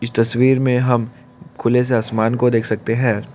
इस तस्वीर में हम खुले से आसमान को देख सकते हैं।